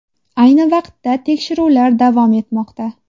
Ayni vaqtda tekshiruvlar davom etmoqda.